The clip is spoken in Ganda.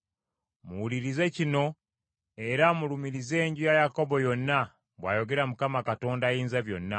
“Muwulirize kino era mulumirize enju ya Yakobo yonna,” bw’ayogera Mukama Katonda Ayinzabyonna.